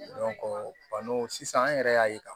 sisan an yɛrɛ y'a ye ka